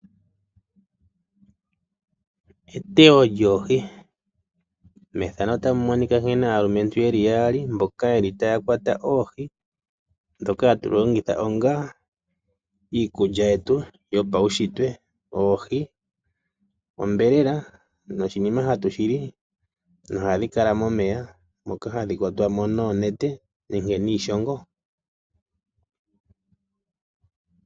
Eteyo lyoohi. Methano otamu monika nkene aalumentu yeli yaali mboka yeli taya kwata oohi. Dhoka hatu longitha ongaa iikulya yetu yopaushitwe. Oohi onyama noshinima hatu shili nohadhi kala momeya moka hadhi kwatwa mo noonete nenke niishongo.